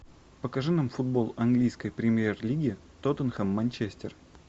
покажи нам футбол английской премьер лиги тоттенхэм манчестер